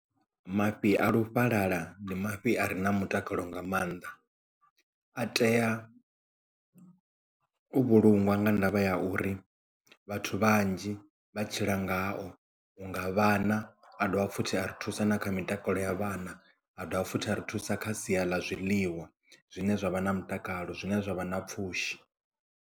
Mafhi a lufhalala ndi mafhi a re na mutakalo nga maanḓa a tea u vhulungwa nga ndavha ya uri vhathu vhanzhi vha tshila ngao unga vhana a dovha futhi a ri thusa na kha mitakalo ya vhana a dovha futhi a ri thusa kha sia ḽa zwiḽiwa zwine zwavha na mutakalo zwine zwavha na pfhushi.